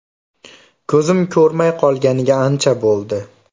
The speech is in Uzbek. Ko‘zim ko‘rmay qolganiga ancha bo‘ldi.